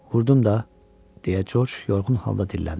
Vurdum da, deyə George yorğun halda dilləndi.